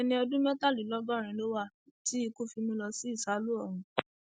ẹni ọdún mẹtàdínlọgọrin ló wà tí ikú fi mú un lọ sí ìsálú ọrun